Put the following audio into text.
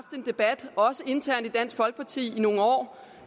en debat også internt i dansk folkeparti i nogle år